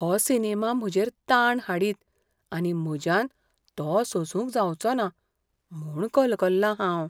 हो सिनेमा म्हजेर ताण हाडीत आनी म्हज्यान तो सोसूंक जावचोना म्हूण कलकल्लां हांव.